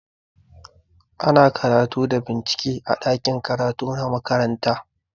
Ana karatu da bincike a ɗakin karatu na makaranta.